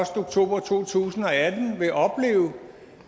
oktober to tusind og atten vil opleve